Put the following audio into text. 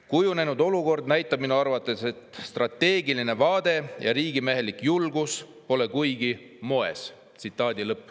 Kujunenud olukord näitab minu arvates, et strateegiline vaade ja riigimehelik julgus pole kuigi moes.